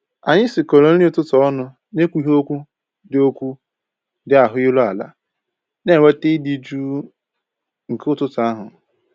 Anyị sikọrọ nri ụtụtụ ọnụ na ekwughị okwu dị okwu dị ahụ iru ala, na enweta ịdị jụụ nke ụtụtụ ahụ